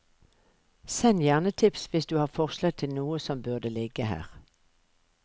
Send gjerne tips hvis du har forslag til noe som burde ligge her.